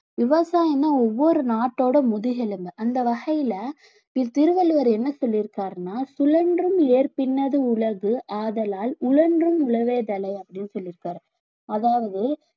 விவசாயம்னா ஒவ்வொரு நாட்டோட முதுகெலும்பு அந்த வகையில திருவள்ளுவர் என்ன சொல்லி இருக்காருன்னா சுழன்றும் ஏர்ப் பின்னது உலகு ஆதலால் உழன்றும் உழவே தலை அப்படின்னு சொல்லியிருக்காரு அதாவது